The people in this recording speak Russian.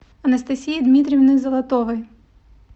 анастасии дмитриевны золотовой